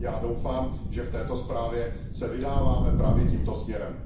Já doufám, že v této zprávě se vydáváme právě tímto směrem.